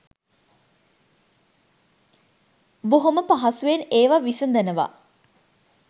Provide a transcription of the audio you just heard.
බොහොම පහසුවෙන් ඒවා විසඳනවා